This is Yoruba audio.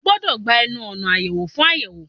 O gbọdọ̀ gba ẹnu ọ̀nà àyẹwò fún àyẹ̀wò